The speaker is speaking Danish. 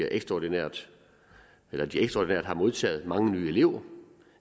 ekstraordinært har modtaget mange nye elever